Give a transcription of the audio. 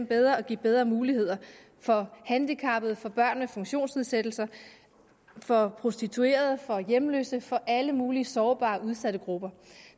bedre og give bedre muligheder for handicappede for børn med funktionsnedsættelser for prostituerede og for hjemløse for alle mulige sårbare udsatte grupper